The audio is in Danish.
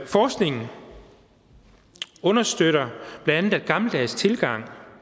forskningen understøtter bla at en gammeldags tilgang